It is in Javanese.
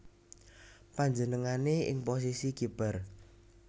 Panjenengané ing posisi kiper